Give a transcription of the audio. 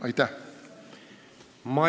Aitäh!